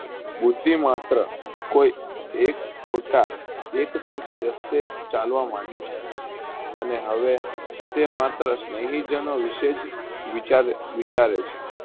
બુદ્ધિ માત્ર કોઈ એક ખોટા એક પરથી રસ્તે ચાલવા મનડી છે. અને હવે તેમાત્ર સનેહી જાણો વિશે જ વિચારે વિચારે છે.